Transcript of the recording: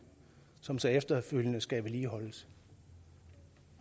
som så efterfølgende skal vedligeholdes